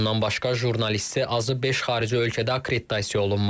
Bundan başqa jurnalisti azı beş xarici ölkədə akkreditasiya olunmalı.